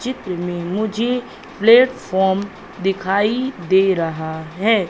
चित्र में मुझे प्लेटफॉर्म दिखाई दे रहा है।